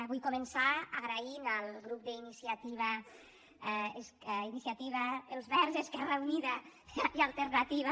vull començar agraint al grup d’iniciativa els verds esquerra unida i alternativa